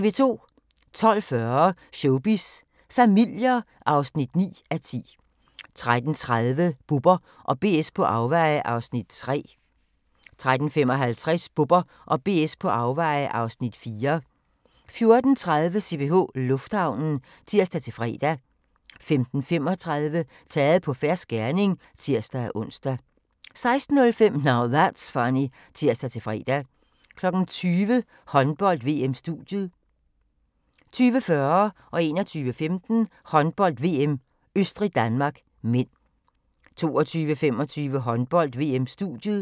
12:40: Showbiz familier (9:10) 13:30: Bubber & BS på afveje (Afs. 3) 13:55: Bubber & BS på afveje (Afs. 4) 14:30: CPH Lufthavnen (tir-fre) 15:35: Taget på fersk gerning (tir-ons) 16:05: Now That's Funny (tir-fre) 20:00: Håndbold: VM-studiet 20:40: Håndbold: VM - Østrig-Danmark (m) 21:25: Håndbold: VM - Østrig-Danmark (m) 22:25: Håndbold: VM-studiet